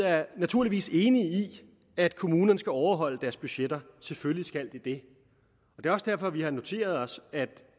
er naturligvis enig i at kommunerne skal overholde deres budgetter selvfølgelig skal de det det er også derfor vi har noteret os at